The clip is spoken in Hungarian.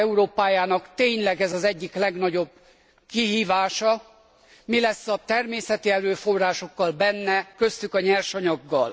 század Európájának tényleg ez az egyik legnagyobb kihívása mi lesz a természeti erőforrásokkal, köztük a nyersanyaggal.